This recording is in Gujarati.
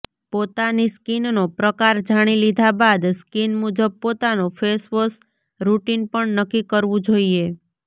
પોતાની સ્કિનનો પ્રકાર જાણી લીધા બાદ સ્કિન મુજબ પોતાનું ફેશવોશ રુટિન પણ નક્કી કરવું જોઈએ